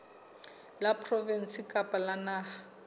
la provinse kapa la naha